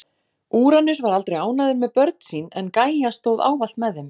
Úranus var aldrei ánægður með börn sín en Gæja stóð ávallt með þeim.